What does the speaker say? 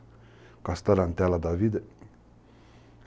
Com as tarantelas da vida.